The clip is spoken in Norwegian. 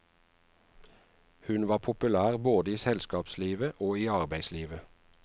Hun var populær både i selskapslivet og i arbeidslivet.